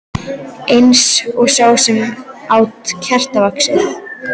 Eins og sá sem át kertavaxið.